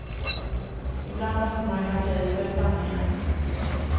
Ibland måste man ju hacka i sig sanningen.